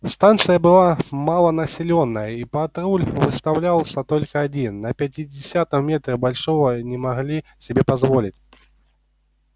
станция была малонаселённая и патруль выставлялся только один на пятидесятом метре большего не могли себе позволить